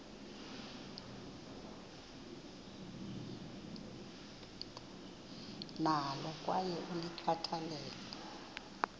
nalo kwaye ulikhathalele